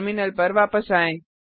terminal पर वापस आएँ